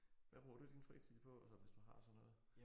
Hvad bruger du din fritid på så hvis du har sådan noget?